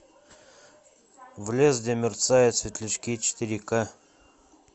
в лес где мерцают светлячки четыре ка